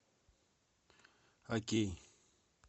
окей